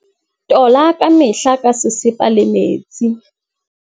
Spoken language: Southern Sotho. Tola ka mehla ka sesepa le metsi.